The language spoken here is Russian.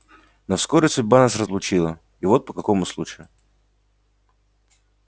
но вскоре судьба нас разлучила и вот по какому случаю